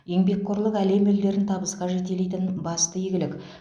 еңбекқорлық әлем елдерін табысқа жетелейтін басты игілік